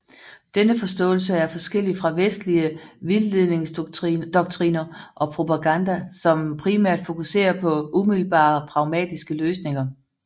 Denne forståelse er forskellig fra vestlige vildledningsdoktriner og propaganda som primært fokuserer på umiddelbare pragmatiske løsninger